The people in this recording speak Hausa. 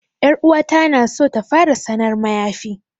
'Yar uwata na so ta fara sanar mayafi.